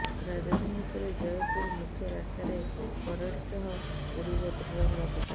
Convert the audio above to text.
ରାଜଧାନୀ ପରେ ଜୟପୁର ମୁଖ୍ୟ ରାସ୍ତାରେ ପରେଡ଼ ସହ ଉଡ଼ିବ ତ୍ରିରଙ୍ଗା ପତାକା